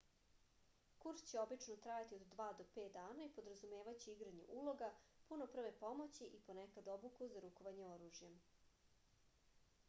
kurs će obično trajati od 2 do 5 dana i podrazumevaće igranje uloga puno prve pomoći i ponekad obuku za rukovanje oružjem